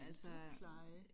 Ældrepleje